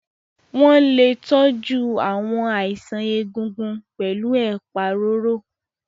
Wọ́n lè tọ́jú àwọn àìsàn egungun pẹ̀lú ẹ̀pà roro.